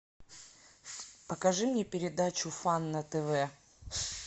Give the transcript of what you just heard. покажи мне передачу фан на тв